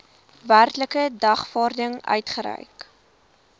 werklike dagvaarding uitgereik